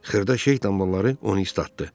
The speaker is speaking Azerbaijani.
Xırda şey damarları onu islatdı.